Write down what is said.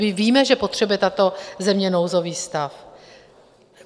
My víme, že potřebuje tato země nouzový stav.